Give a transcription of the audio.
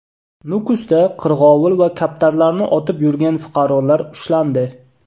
Nukusda qirg‘ovul va kaptarlarni otib yurgan fuqarolar ushlandi.